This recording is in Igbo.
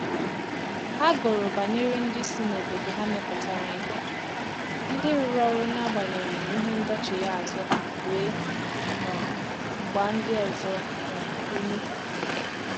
Ha gụrụ banyere ndị si n’obodo ha mepụtara ìhè, ndị rụrụ ọrụ n’agbanyeghị ìhè ndọchigha azụ ha wee um gba ndị ọzọ um ume